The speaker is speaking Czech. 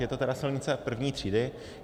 Je to tedy silnice první třídy.